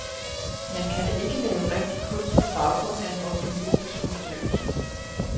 Man kan da ikke lave rigtig kunst på baggrund af en opinionsundersøgelse.